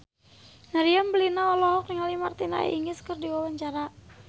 Meriam Bellina olohok ningali Martina Hingis keur diwawancara